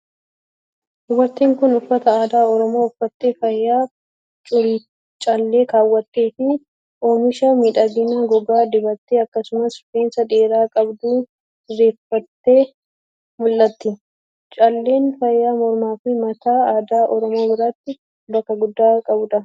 Dubartiin kun, uffata aadaa Oromoo uffattee, faaya callee kaawwattee fi oomisha miidhaginaa gogaa dibattee akkasumas rifeensa dheeraa qabdu sirreeffattee mul'atti. Calleen faaya mormaa fi mataa aadaa Oromoo biratti bakka guddaa qabuu dha.